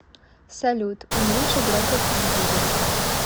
салют уменьши громкость телевизора